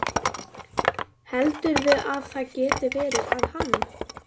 Heldurðu að það geti verið að hann